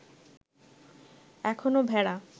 এখনও ভেড়া